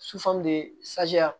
de